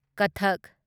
ꯀꯊꯛ